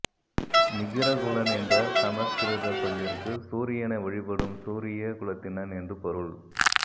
மிகிரகுலன் என்ற சமசுகிருதச் சொல்லிற்கு சூரியனை வழிபடும் சூரிய குலத்தினன் என்று பொருள்